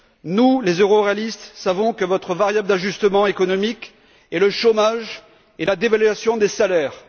Nous, les euroréalistes, savons que votre variable d'ajustement économique est le chômage et la dévaluation des salaires.